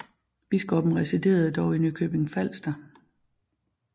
Biskoppen residerede dog i Nykøbing Falster